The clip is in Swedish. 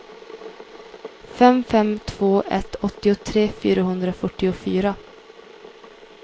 fem fem två ett åttiotre fyrahundrafyrtiofyra